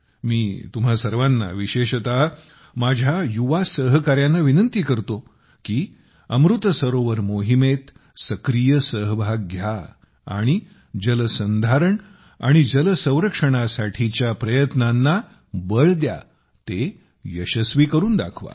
मी तुम्हा सर्वांना विशेषत माझ्या युवा सहकाऱ्यांना विनंती करतो की अमृत सरोवर मोहिमेत सक्रीय सहभाग घ्या आणि जलसंधारण आणि जलसंरक्षणासाठीच्या प्रयत्नांना बळ द्या ते यशस्वी करून दाखवा